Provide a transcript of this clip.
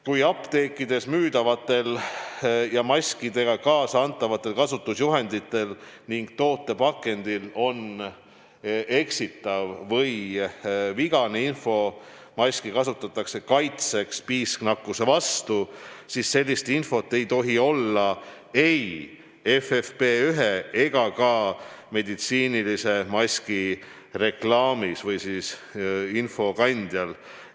Kui apteekides müüdavate maskidega kaasa antaval kasutusjuhendil ja toote pakendil on eksitav või vigane info, maski kasutatakse kaitseks piisknakkuse vastu, siis sellist infot ei tohi olla ei FFP1 ega ka meditsiinilise maski reklaamis või infokandjal.